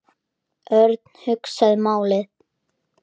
Örn hugsaði málið.